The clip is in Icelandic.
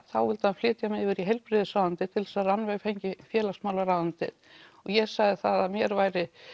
þá vildi hann flytja mig yfir í heilbrigðisráðuneytið til þess að Rannveig fengi félagsmálaráðuneytið og ég sagði að mér væri